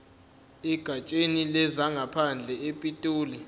egatsheni lezangaphandle epitoli